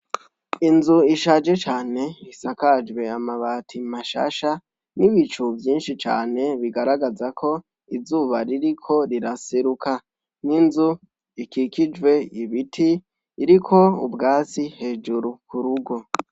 Inzu ishaje cane isakajwe amabati mashasha nibicu vyinshi cane bigaragara ko izuba ririko riraseruka n'inzu ikikijwe ibiti iriko ubwatsi hejuru kurugo.